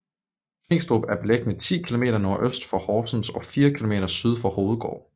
Tvingstrup er beliggende 10 kilometer nordøst for Horsens og fire kilometer syd for Hovedgård